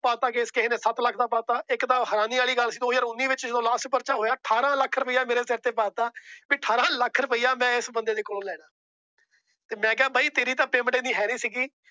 ਪਾ ਤਾ ਕੇਸ ਕਿਸੇ ਨੇ ਸੱਤ ਲੱਖ ਦਾ ਪਾਤਾ ਕੇਸ। ਇੱਕ ਤਾਂ ਹੈਰਾਨੀ ਵਾਲੀ ਗੱਲ ਦੋ ਹਜ਼ਾਰ ਉਨੀ ਵਿੱਚ ਜਦੋ Last ਪਰਚਾ ਹੋਇਆ। ਅਠਾਰਾਂ ਲੱਖ ਰੁਪਇਆ ਮੇਰੇ ਸਰ ਤੇ ਪਾ ਤਾਂ। ਵੀ ਅਠਾਰਾਂ ਲੱਖ ਰੁਪਇਆ ਮੈ ਇਸ ਬੰਦੇ ਤੋਂ ਲੈਣਾ। ਮੈ ਕਿਹਾ ਬਾਈ ਤੇਰੀ ਤਾਂ Payment ਏਨੀ ਹੈ ਨਹੀਂ ਸੀ।